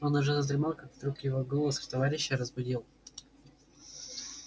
он уже задремал как вдруг его голос товарища разбудил